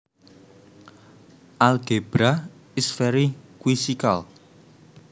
Algebra is very quizzical